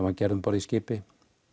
var gerð um borð í skipi